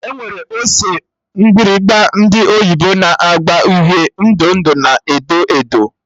Enwere ose mgbịrịgba ndị oyibo na agba uhie, ndụ ndụ na edo edo